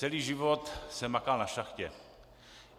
Celý život jsem makal na šachtě.